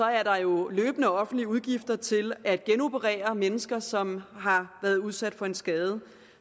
er der jo løbende offentlige udgifter til at genoperere mennesker som har været udsat for en skade